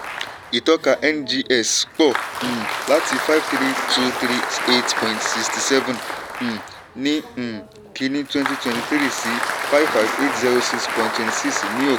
ìtọ́ka ngx pọ̀ um láti five three two three eight point sixty seven um ní um kínní twenty twenty three sí five five eight zero six point twenty six ní òpin.